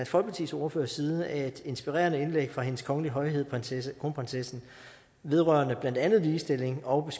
folkepartis ordførers side et inspirerende indlæg fra hendes kongelige højhed kronprinsessen vedrørende blandt andet ligestilling og